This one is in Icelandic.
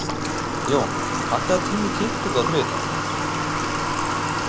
Jón, pantaðu tíma í klippingu á þriðjudaginn.